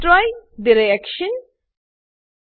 destroy the reaction પર click કરો